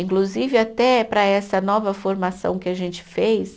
Inclusive, até para essa nova formação que a gente fez.